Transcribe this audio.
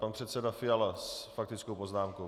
Pan předseda Fiala s faktickou poznámkou.